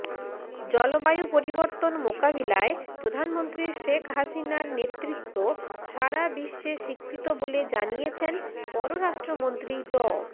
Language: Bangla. জলবায়ু পরিবর্তন মোকাবিলায় প্রধানমন্ত্রী শেখ হাসিনার নেতৃত্ব সারা বিশ্বে স্বীকৃত বলে জানিয়েছেন পররাষ্ট্রমন্ত্রী ড